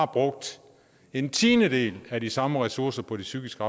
brugt en tiendedel af de samme ressourcer på de psykiske